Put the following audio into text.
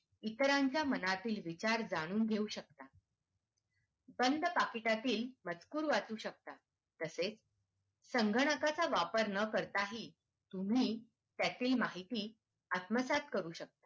इतरांच्या मनातील विचार जाणून घेऊ शकता बांध पाकिटातील मजकूर वाचू शकता तसेच संगणकाचा वापर न करताही तुम्ही त्यातील माहिती आत्मसात करू शकता